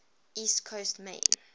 east coast maine